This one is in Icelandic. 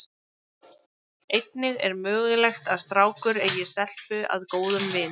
Einnig er mögulegt að strákur eigi stelpu að góðum vin.